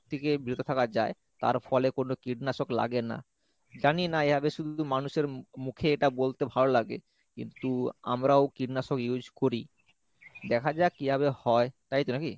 থেকে বিরত থাকা যায় তার ফলে কোনো কীটনাশক লাগে না , জানি না এভাবে শুধু মানুষের মু~ মুখে এটা বলতে ভালো লাগে কিন্তু আমরাও কীটনাশক use করি , দেখা যাক কিভাবে হয় তাইতো নাকি?